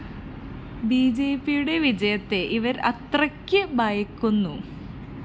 ബിജെപിയുടെ വിജയത്തെ ഇവര്‍ അത്രയ്ക്ക് ഭയക്കുന്നു